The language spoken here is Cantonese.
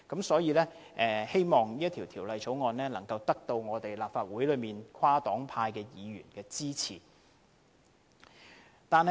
所以，我希望《條例草案》可獲得立法會內跨黨派議員的支持。